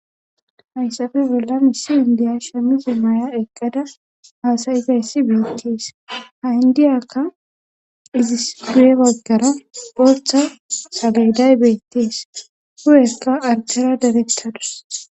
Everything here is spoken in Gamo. hayssafe bolla missi indiya shemmisi maya eqqada haasayi fayssi beettees ha indiyakka izis du7e baggara pottha saleday beettees hu7eska artera darettadus